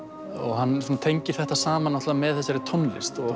hann tengir þetta saman með þessari tónlist